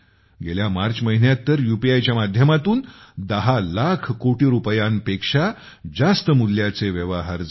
गेल्या मार्च महिन्यात तर यूपीआयच्या माध्यमातून 10 लाख कोटी रुपयांपेक्षा जास्त मूल्याचे व्यवहार झाले